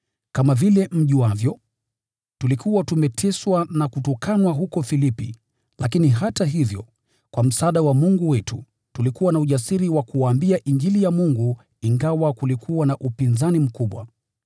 kama vile mjuavyo, tulikuwa tumeteswa na kutukanwa huko Filipi, lakini hata hivyo, kwa msaada wa Mungu wetu, tulikuwa na ujasiri wa kuwaambia Injili ya Mungu ingawa kulikuwa na upinzani mkubwa.